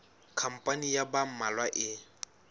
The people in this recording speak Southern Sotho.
khampani ya ba mmalwa e